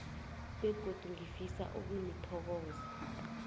begodu ngifisa ukunithokoza